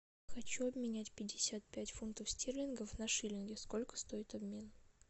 хочу обменять пятьдесят пять фунтов стерлингов на шиллинги сколько стоит обмен